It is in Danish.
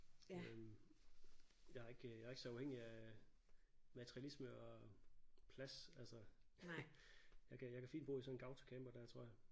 Øh jeg er ikke jeg er ikke så afhængig af materialisme og plads altså jeg kan jeg kan fint bo i sådan en autocamper der tror jeg